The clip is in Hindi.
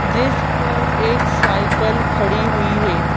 जिस पर एक साइकिल खड़ी हुई है।